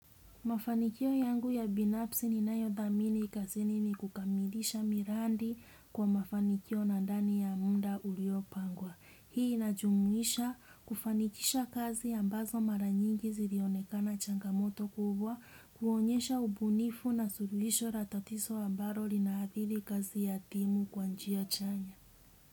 Mafanikio yangu ya binafsi ni nayo dhamini kazini ni kukamidisha miradi kwa mafanikio na ndani ya muda uliopangwa. Hii inajumuisha kufanikisha kazi ambazo mara nyingi zilionekana changamoto kubwa, kuonyesha ubunifu na suluhisho la tatizo ambalo linaathiri kazi ya timu kwa njia chanya.